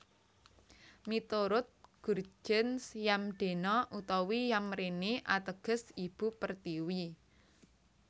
Miturut Gurtjens Yamdena utawi Yamrene ateges Ibu Pertiwi